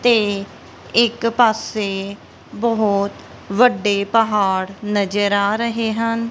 ਤੇ ਇੱਕ ਪਾਸੇ ਬਹੁਤ ਵੱਡੇ ਪਹਾੜ ਨਜ਼ਰ ਆ ਰਹੇ ਹਨ।